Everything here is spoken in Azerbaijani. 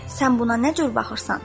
Sən buna nə cür baxırsan?